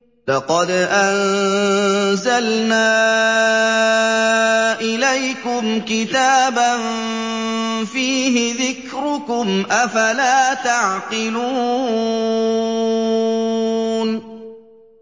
لَقَدْ أَنزَلْنَا إِلَيْكُمْ كِتَابًا فِيهِ ذِكْرُكُمْ ۖ أَفَلَا تَعْقِلُونَ